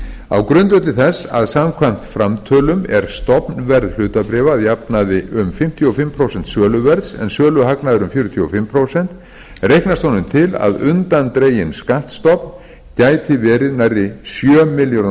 á grundvelli þess að samkvæmt framtölum er stofnverð hlutabréfa að jafnaði um fimmtíu og fimm prósent söluverðs en söluhagnaður um fjörutíu og fimm prósent reiknast honum til að undandreginn skattstofn gæti verið nærri sjö milljörðum